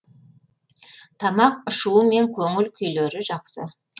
тамақ ішуі мен көңіл күйлері жақсы